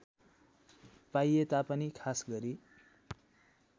पाइए तापनि खासगरी